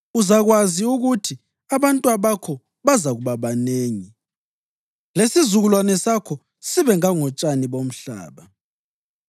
Uzakwazi ukuthi abantwabakho bazakuba banengi, lesizukulwane sakho sibe ngangotshani bomhlaba.